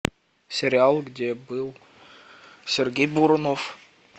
сериал где был сергей бурунов